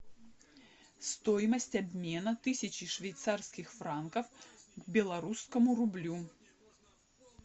стоимость обмена тысячи швейцарских франков к белорусскому рублю